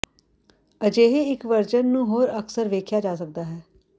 ਅਜਿਹੇ ਇੱਕ ਵਰਜਨ ਨੂੰ ਹੋਰ ਅਕਸਰ ਵੇਖਿਆ ਜਾ ਸਕਦਾ ਹੈ